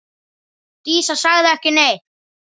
Dísa sagði ekki neitt.